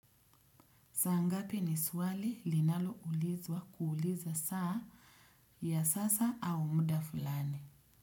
Sangapi ni swali linalo ulizwa kuuliza saa ya sasa au muda fulani.